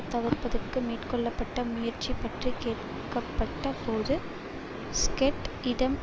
தவிர்ப்பதற்கு மேற்கொள்ள பட்ட முயற்சி பற்றி கேட்கப்பட்ட போது ஸ்கொட் இடம்